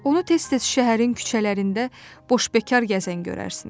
Onu tez-tez şəhərin küçələrində boşbekar gəzən görərsiniz.